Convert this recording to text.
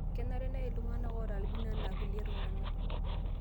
Kenare neyai ltung'ana oota albino ena kulie tung'ana